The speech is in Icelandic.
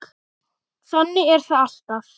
Þannig er þetta alltaf.